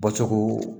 Bɔcogo